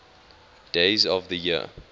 days of the year